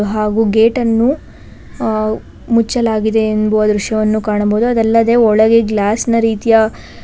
ಹಾಗೂ ಗೇಟ್ ಅನ್ನು ಮುಚ್ಚಲಾಗಿದೆ ಎಂಬುವ ದೃಶ್ಯವನ್ನು ಕಾಣಬಹುದು ಅದಲ್ಲದೆ ಒಳಗೆ ಗ್ಲಾಸ್ ನ ರೀತಿಯ.